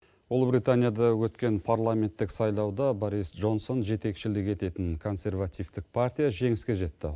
ұлыбританияда өткен парламенттік сайлауда борис джонсон жетекшілік ететін консервативтік партия жеңіске жетті